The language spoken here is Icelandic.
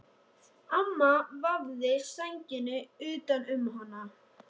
Amma vafði sænginni utan um hana.